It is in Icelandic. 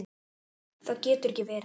Það getur ekki verið